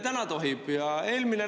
Täna tohib!